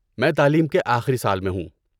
میں تعلیم کے آخری سال میں ہوں۔